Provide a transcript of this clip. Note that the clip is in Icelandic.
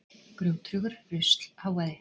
Grjóthrúgur, rusl, hávaði.